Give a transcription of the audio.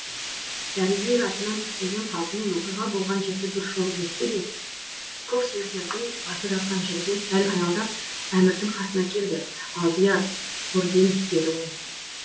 дәрігер атынан түспеген қалпымен оқиға болған жерді бір шолып өтті де көксемсердің басы жатқан жерге сәл аялдап әмірдің қасына келді алдияр гурген деді ол